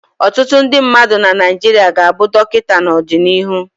Ọtụtụ ndị mmadụ na Naịjirịa ga-abụ Dọkịta n'ọdịnihu.